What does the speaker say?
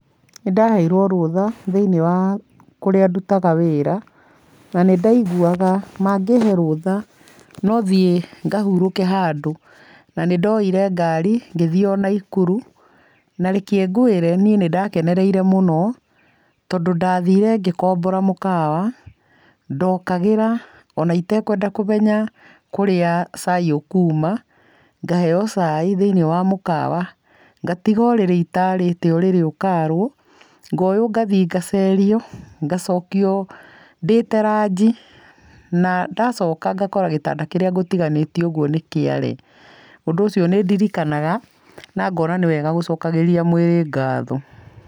Nĩ ndaheirwo rũtha thĩiniĩ wa kũrĩa ndutaga wĩra na nĩ ndaiguaga mangĩhe rũtha no thiĩ ngahurũke handũ, na nĩ ndoire ngari ngĩthiĩ o Nakuru na reke ngwĩre niĩ nĩ ndakenereire mũno, tondũ ndathiire ngĩkombora mũkawa, ndokagĩra ona itekwenda kũmeya kũrĩa cai ũkuma, ngaheo cai thĩiniĩ wa mũkawa, ngatiga ũrĩrĩ itaarĩte ũrĩrĩ ukaarwo, ngoywo ngathiĩ ngacerio, ngacokio ndĩĩte ranji na ndacoka ngakora gĩtanda kĩríĩ ngũtiganĩtie ũguo nĩ kĩare. Ũndũ ũcio nĩ ndirikanaga na ngona nĩ wega gũcokagĩria mwĩrĩ ngatho.